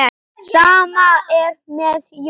Sama er með Jón.